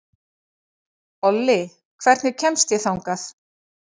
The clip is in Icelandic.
Olli, hvernig kemst ég þangað?